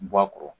Bɔ a kɔrɔ